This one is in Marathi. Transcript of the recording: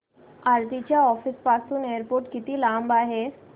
आरती च्या ऑफिस पासून एअरपोर्ट किती लांब आहे